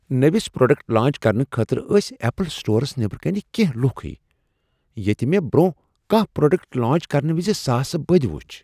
نٔوس product launch کرنہٕ خٲطرٕ ٲسۍ ایپل سٹورس نٮ۪بر صرف کینٛہہ لوکھٕیہ ییٚتہ مےٚ برونہہ کانٛہہ پروڈکٹ لانچ كرنہٕ وِزِ ساسہٕ بٕدِ وُچھ ۔